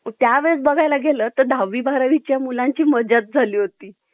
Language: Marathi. कोणतीही भीती किंवा चिंता नव्हती. ते नेहमीच स्वतःच्या मर्जीने होती. जर फक्त मी पुन्हा एकदा मुल होऊ शकले.